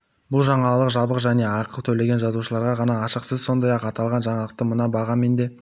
бұл жаңалық жабық және ақы төлеген жазылушыларға ғана ашық сіз сондай-ақ аталған жаңалықты мына бағамен де